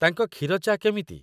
ତାଙ୍କ କ୍ଷୀର ଚା' କେମିତି?